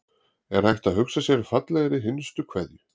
Er hægt að hugsa sér fallegri hinstu kveðju?